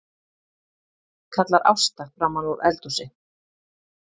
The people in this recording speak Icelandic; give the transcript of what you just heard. kallar Ásta framanúr eldhúsi.